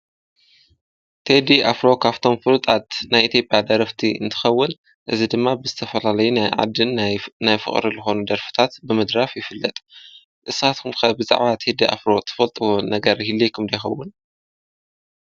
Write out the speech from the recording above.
ቴዲ ኣፍሮ ኽ ኣፍቶም ፍሩጣት ናይ ኢትዮጴያ ኣረፍቲ እንትኸውል እዝ ድማ ብዝተፈላለይ ናይ ዓድን ናይ ፍቕሪ ልሆኑ ደርፍታት ብምድራፍ ይፍለጥ ንሳትኩምከ ብዛዓት ሂዲ ኣፍሮ ትፈልጥዎን ነገር ኢልይኹም ዶይኸውን?